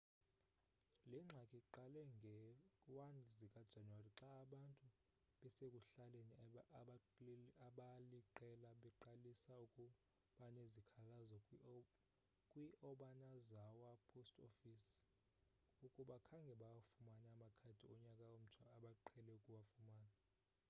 le ngxaki iqale ngee-1 zikajanuwari xa abantu basekuhlaleni abaliqela beqalise ukubanezikhalazo kwi-obanazawa post office ukuba khange bawafumane amakhadi onyaka omtsha abaqhele ukuwafumana